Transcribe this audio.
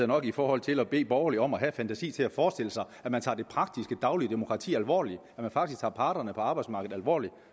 nok i forhold til at bede borgerlige om at have fantasi til at forestille sig at man tager det praktiske daglige demokrati alvorligt at man faktisk tager parterne på arbejdsmarkedet alvorligt